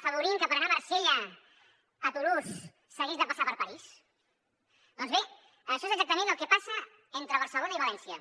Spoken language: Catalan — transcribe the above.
afavorint que per anar a marsella a tolosa s’hagués de passar per parís doncs bé això és exactament el que passa entre barcelona i valència